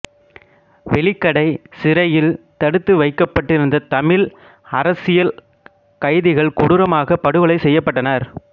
வெலிக்கடைச் சிறையில் தடுத்துவைக்கப்பட்டிருந்த தமிழ் அரசியல் கைதிகள் கொடூரமாகப் படுகொலை செய்யப்பட்டனர்